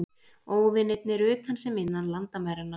Óvinirnir utan sem innan landamæranna.